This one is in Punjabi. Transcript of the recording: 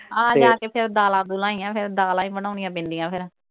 ਆਹ ਲਾਹ ਕੇ ਫਿਰ ਦਾਲਾਂ ਦੁਲਾਂ ਈ ਆਂ, ਫਿਰ ਦਾਲਾਂ ਈ ਬਣਾਉਣੀਆਂ ਪੈਂਦੀਆਂ ਫਿਰ।